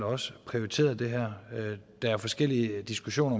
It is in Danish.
også prioriteret det her der er forskellige diskussioner